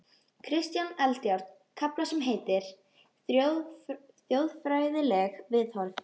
Kristján Eldjárn kafla sem heitir: Þjóðfræðileg viðhorf.